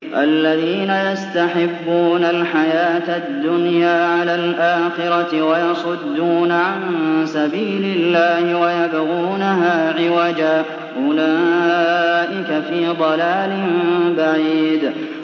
الَّذِينَ يَسْتَحِبُّونَ الْحَيَاةَ الدُّنْيَا عَلَى الْآخِرَةِ وَيَصُدُّونَ عَن سَبِيلِ اللَّهِ وَيَبْغُونَهَا عِوَجًا ۚ أُولَٰئِكَ فِي ضَلَالٍ بَعِيدٍ